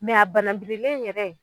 a bananbirilen yɛrɛ